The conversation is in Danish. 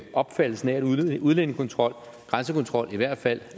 opfattelsen af at udlændingekontrol grænsekontrol i hvert fald